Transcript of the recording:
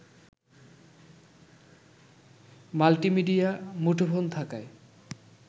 multi media মুঠোফোন থাকায়